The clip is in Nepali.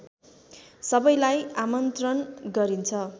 सबैलाई आमन्त्रण गरिन्छ